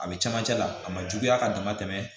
A bɛ camancɛ la a ma juguya ka dama tɛmɛ